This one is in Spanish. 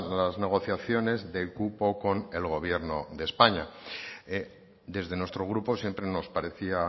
las negociaciones del cupo con el gobierno de españa desde nuestro grupo siempre nos parecía